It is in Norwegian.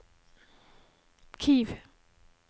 Kiev